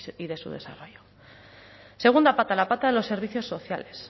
y de su desarrollo segunda pata la pata de los servicios sociales